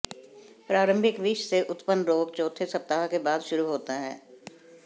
प्रारंभिक विष से उत्पन्न रोग चौथे सप्ताह के बाद शुरू होता है